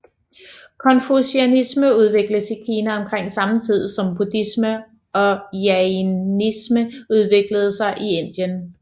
Konfusianisme udvikledes i Kina omkring samme tid som buddhisme og jainisme udviklede sig i Indien